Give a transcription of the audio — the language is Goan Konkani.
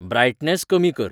ब्रायटनेस कमी कर